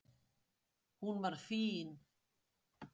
Hún var fín.